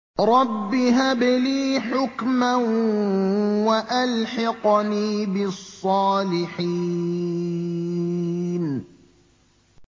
رَبِّ هَبْ لِي حُكْمًا وَأَلْحِقْنِي بِالصَّالِحِينَ